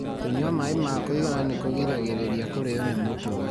Kunyua maĩ ma kũigana nĩ kũgiragĩrĩria kũrio nĩ mũtwe.